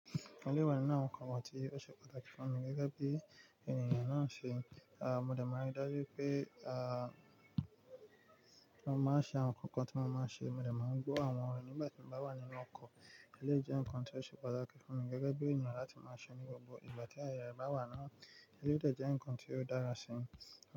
Ò lé wà nínú àwọn ǹkan wọ̀ tí ó ṣe pàtàkì fún mi gẹ́gẹ́ bí ènìyàn náà ṣe, a, mo dẹ̀ máa rí dájú pé, a, kí wọ́n má ṣe àwọn ǹkan kan tí wọ́n máa ṣe, mo dẹ̀ máa ń gbọ́ àwọn ọ̀rọ̀ nígbàtí mo bá wà nínú ọkọ̀, ẹlẹ́ jẹ́ ǹkan tí ó ṣe pàtàkì fún mi gẹ́gẹ́ bí ènìyàn láti má ṣe ní gbogbo ìgbà tí aaye rẹ bá wà náà, ẹlẹ́yi de jẹ́ ǹkan tí ó dára sí mi.